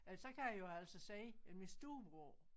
Ja så kan jeg jo altså sige at min storebror